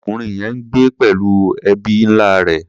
Ọmọkùnrin yẹn ń gbé pẹ̀lú ẹbí ńlá rẹ̀.